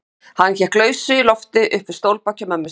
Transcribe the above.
Hann hékk í lausu lofti upp við stólbak hjá mömmu sinni.